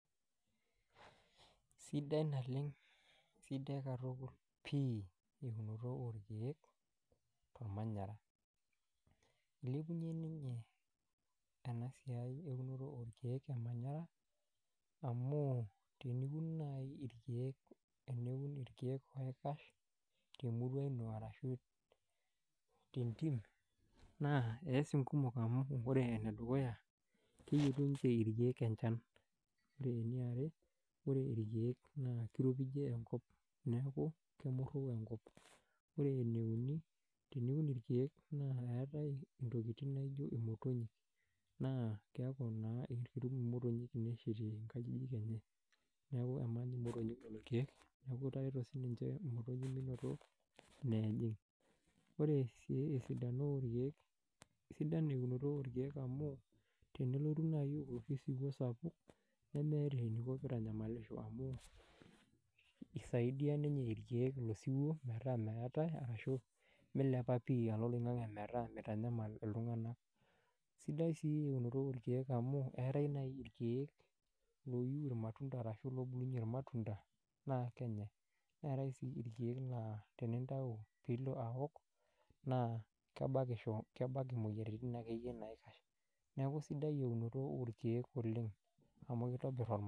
Sidai naleng, sidai katukul pii eunoto orkiek tolmanyara. Ilepunyie ninye ena siai eunoto orkiek olmanyara, amu teniun naai irkiek, teniun irkiek oikash temurua ino arashu tentim, naa eas inkumok amu wore enedukuya, keyietu ninche irkiek enchan, wore eniare wore irkiek naa kiropijie enkop neeku kemurru enkop, wore ene uni, teniun irkiek naa eetae intokitin naijo imotonyik, naa keaku naa ketum imotonyik ineeshetie inkajijik enye. Neeku emany imotonyik lelo kiek, neeku itareto sininche imotonyik minoto ineejing. Wore sii esidano orkiek, kesidai eunoto orkiek amu, tenelotu naai oloshi siwuo sapuk, nemeeta eniko pee itanyamalisho amuu, isaidia ninche irkiek ilo siwuo metaa meetae arashu milepa pii alo oloingange metaa mitanyamal iltunganak. Sidai sii eunoto orkiek amu eetae sii irkiek looyu irmatunda ashu loobulunye irmatunda, naa kenyae. Etae sii irkiek laa tenintayu pee ilo aok, naa kebakisho, kebak imoyiaritin akeyie naikash. Neeku sidai eunoto orkiek oleng' amu kitobir olmanyara